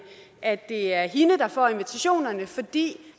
at det er hende der får invitationerne fordi